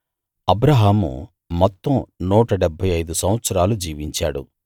అబ్రాహాము మొత్తం నూట డెబ్భై ఐదు సంవత్సరాలు జీవించాడు